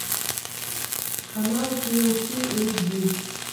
канал ти эл си эйч ди